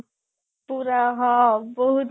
ପୁରା ହଁ ବହୁତ